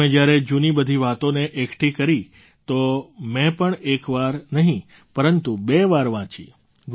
તમે જ્યારે જૂની બધી વાતોને એકઠી કરી તો મેં પણ એક વાર નહીં પરંતુ બે વાર વાંચી